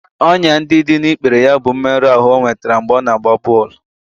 Ọnyá ndị dị n'ikpere ya bụ mmerụ ahụ e nwetara mgbe ọ na-agba bọl